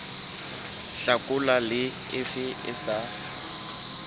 hlakola le efe e sa